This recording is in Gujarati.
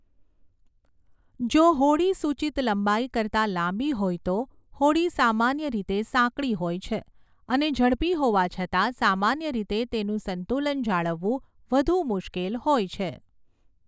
જો હોડી સૂચિત લંબાઈ કરતા લાંબી હોય તો, હોડી સામાન્ય રીતે સાંકડી હોય છે, અને ઝડપી હોવા છતાં સામાન્ય રીતે તેનું સંતુલન જાળવવું વધુ મુશ્કેલ હોય છે.